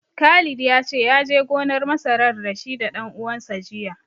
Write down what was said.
Khalid ya ce, ya je gonar masarar da shi da ɗan uwansa jiya.